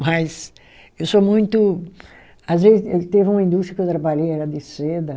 Mas eu sou muito. Às vezes, teve uma indústria que eu trabalhei, era de seda.